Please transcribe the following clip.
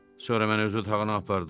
Sonra məni öz otağına apardı.